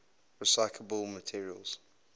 recyclable materials